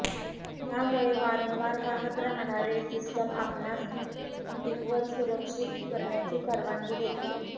त्यामुळे वारंवार वाहत राहणारे सिस्टम आपणास हीटिंगवर सुरक्षित करण्याची परवानगी देते